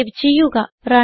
save ചെയ്യുക